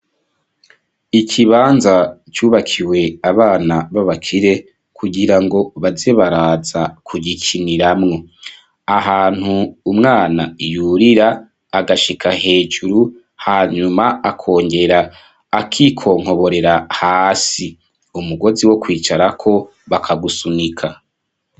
Ikibanza cubakiwe abana babakire kugira ngo bazebaraza kugikiniramwo ahantu umwana iyurira agashika hejuru hanyuma akongera akikonkoborera hasi umugozi wo kwicarako akagusunika.